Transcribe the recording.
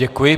Děkuji.